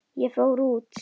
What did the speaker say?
Ég fór út.